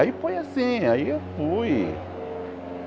Aí foi assim, aí eu fui.